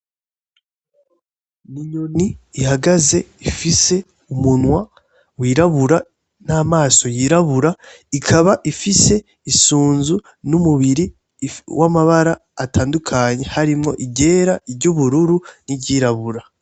Inyoni ihagaze ifise umunwa wirabura n'amaso yirabura ikaba ifise isunzu n'umubiri w'amabara atandukanye harimwo iryera, iry'ubururu, n'iryirabura.